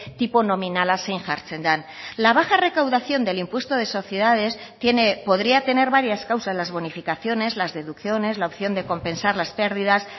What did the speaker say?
tipo nominala zein jartzen den la baja recaudación del impuesto de sociedades podría tener varias causas las bonificaciones las deducciones la opción de compensar las pérdidas